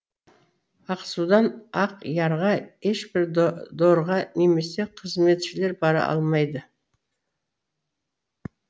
ақсудан ақ ярға ешбір дорға немесе қызметшілер бара алмады